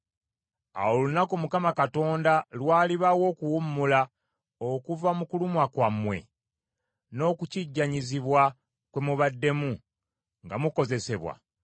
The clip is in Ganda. Awo olunaku Mukama Katonda lw’alibawa okuwummula okuva mu kulumwa kwammwe n’okukijjanyizibwa kwe mubaddemu nga mukozesebwa,